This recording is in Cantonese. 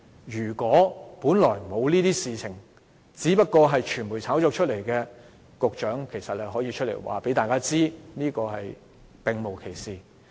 如果這些問題只是傳媒炒作，局長其實可以出來告訴大家並無其事。